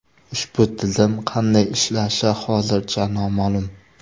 Ushbu tizim qanday ishlashi hozircha noma’lum.